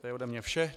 To je ode mne vše.